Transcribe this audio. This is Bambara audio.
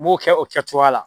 U b'o kɛ o kɛcogoya la.